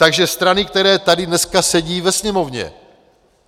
Takže strany, které tady dneska sedí ve Sněmovně.